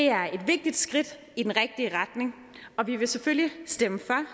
er et vigtigt skridt i den rigtige retning og vi vil selvfølgelig stemme for